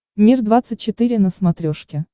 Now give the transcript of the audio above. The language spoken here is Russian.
мир двадцать четыре на смотрешке